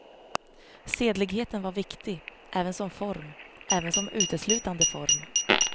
Sedligheten var viktig, även som form, även som uteslutande form.